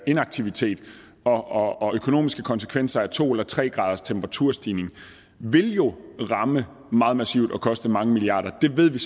inaktivitet og og økonomiske konsekvenser af to eller tre graders temperaturstigning vil jo ramme meget massivt og koste mange milliarder det ved vi